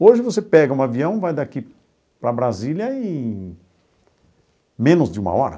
Hoje você pega um avião, vai daqui para Brasília em menos de uma hora.